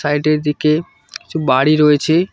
সাইডের দিকে কিছু বাড়ি রয়েছে।